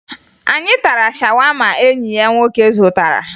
Anyị tara shawama enyi ya nwoke zụtara